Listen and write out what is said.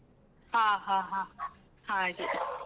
ಹಾ ಹಾ ಹಾ ಹಾ ಹಾಗೆ .